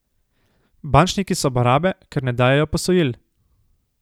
Bančniki so barabe, ker ne dajejo posojil.